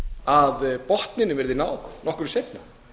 að botninum verði náð nokkru seinna